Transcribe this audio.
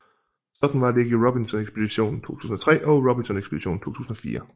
Sådan var det ikke i Robinson Ekspeditionen 2003 og Robinson Ekspeditionen 2004